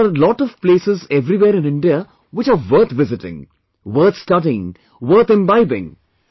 But there are lot of places everywhere in India which are worth visiting, worth studying, worth imbibing